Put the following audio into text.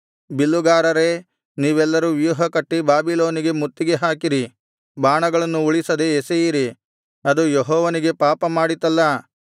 ಬಿಲ್ಲುಗಾರರೇ ನೀವೆಲ್ಲರೂ ವ್ಯೂಹಕಟ್ಟಿ ಬಾಬಿಲೋನಿಗೆ ಮುತ್ತಿಗೆ ಹಾಕಿರಿ ಬಾಣಗಳನ್ನು ಉಳಿಸದೆ ಎಸೆಯಿರಿ ಅದು ಯೆಹೋವನಿಗೆ ಪಾಪ ಮಾಡಿತಲ್ಲಾ